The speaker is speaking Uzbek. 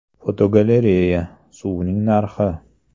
Fotogalereya: Suvning narxi.